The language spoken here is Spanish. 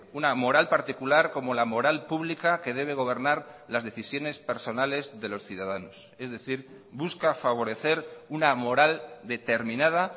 una moral particular como la moral pública que debe gobernar las decisiones personales de los ciudadanos es decir busca favorecer una moral determinada